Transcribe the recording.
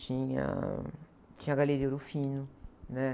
Tinha, tinha a Galeria Ouro Fino, né?